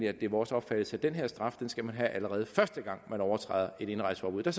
at det er vores opfattelse at den her straf skal man have allerede første gang man overtræder et indrejseforbud der